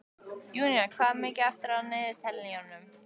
Júnía, hvað er mikið eftir af niðurteljaranum?